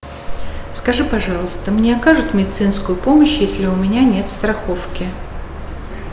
скажи пожалуйста мне окажут медицинскую помощь если у меня нет страховки